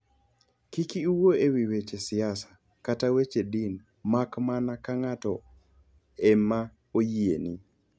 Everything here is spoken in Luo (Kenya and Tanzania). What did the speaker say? Kik iwuo e wi weche siasa kata weche din mak mana ka ng'ato e ma oyieni.